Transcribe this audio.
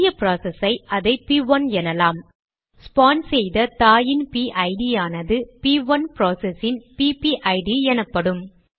புதிய ப்ராசஸ் ஐ அதை ப்1 எனலாம் ஸ்பான் செய்த தாயின் பிஐடிPIDயானது ப்1 ப்ராசஸ் இன் பிபிஐடிPPID எனப்படும்